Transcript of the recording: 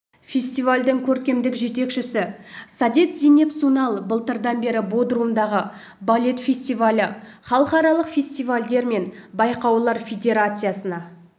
фестивальдің көркемдік жетекшісі саадет зейнеп сунал былтырдан бері бодрумдағы балет фестивалі халықаралық фестивальдер мен байқаулар федерациясына